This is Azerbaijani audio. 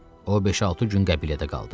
O beş-altı gün qəbilədə qaldı.